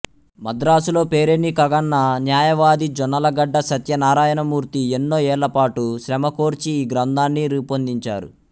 మద్రాసులో పేరెన్నికగన్న న్యాయవాది జొన్నలగడ్డ సత్యనారాయణమూర్తి ఎన్నో ఏళ్ళపాటు శ్రమకోర్చి ఈ గ్రంథాన్ని రూపొందించారు